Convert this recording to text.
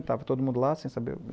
Estava todo mundo lá sem saber.